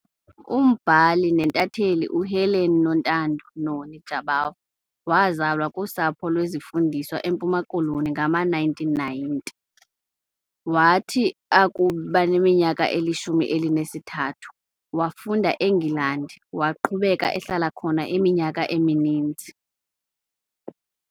Umbhali nentatheli uHelen Nontando, Noni, Jabavu wazalelwa kusapho lwezifundiswa eMpuma Koloni ngama-1919. Wathi akubaneminyaka elishumi elinesithathu, wafunda eNgilandi, waqhubeka ehlala khona iminyaka emininzi.